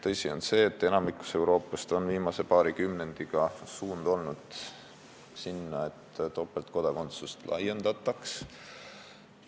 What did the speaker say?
Tõsi on ka see, et pea kogu Euroopas on viimasel paaril kümnendil suund olnud topeltkodakondsuse laiendamisele.